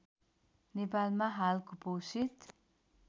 नेपालमा हाल कुपोषित